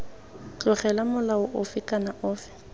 tlogelwa molao ofe kana ofe